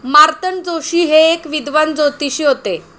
मार्तंड जोशी हे एक विद्वान ज्योतिषी होते.